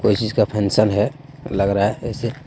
कोई चीज का फेनशन है लग रहा है जैसे।